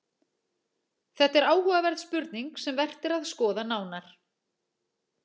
Þetta er áhugaverð spurning sem vert er að skoða nánar.